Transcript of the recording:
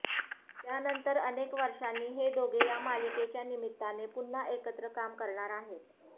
त्यानंतर अनेक वर्षांनी हे दोघे या मालिकेच्या निमित्ताने पुन्हा एकत्र काम करणार आहेत